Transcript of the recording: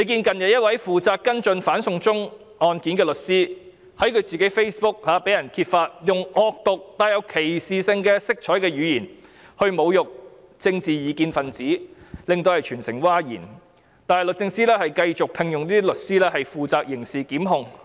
近日，一位負責跟進"反送中"案件的律師被揭發在自己的 Facebook 用惡毒、帶有歧視色彩的語言來侮辱政治異見分子，令全城譁然，但律政司繼續聘用這些律師負責刑事檢控。